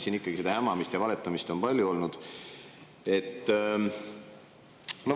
Siin ikkagi seda hämamist ja valetamist on palju olnud.